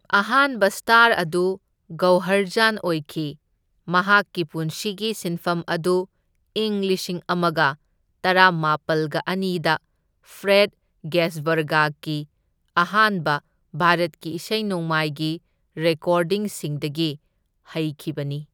ꯑꯍꯥꯟꯕ ꯁ꯭ꯇꯥꯔ ꯑꯗꯨ ꯒꯧꯍꯔ ꯖꯥꯟ ꯑꯣꯏꯈꯤ, ꯃꯍꯥꯛꯀꯤ ꯄꯨꯟꯁꯤꯒꯤ ꯁꯤꯟꯐꯝ ꯑꯗꯨ ꯏꯪ ꯂꯤꯁꯤꯡ ꯑꯃꯒ ꯇꯔꯥꯃꯥꯄꯜꯒ ꯑꯅꯤꯗ ꯐ꯭ꯔꯦꯗ ꯒꯦꯁꯕꯔꯒꯀꯤ ꯑꯍꯥꯟꯕ ꯚꯥꯔꯠꯀꯤ ꯏꯁꯩ ꯅꯣꯡꯃꯥꯏꯒꯤ ꯔꯦꯀꯣꯔꯗꯤꯡꯁꯤꯡꯗꯒꯤ ꯍꯩꯈꯤꯕꯅꯤ꯫